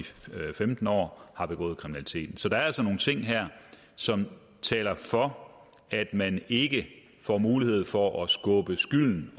femten år har begået kriminalitet så der er altså nogle ting her som taler for at man ikke får mulighed for at skubbe skylden